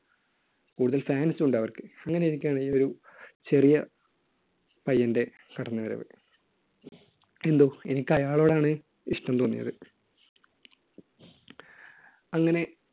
കൂടുതൽ fans ഉണ്ട് അവർക്ക്. അങ്ങനെയിരിക്കെയാണ് ഈ ഒരു ചെറിയ പയ്യന്‍റെ കടന്നുവരവ്. എന്തോ എനിക്ക് അയാളോടാണ് ഇഷ്ടം തോന്നിയത്. അങ്ങനെ